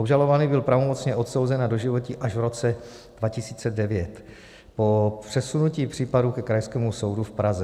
Obžalovaný byl pravomocně odsouzen na doživotí až v roce 2009 po přesunutí případu ke Krajskému soudu v Praze.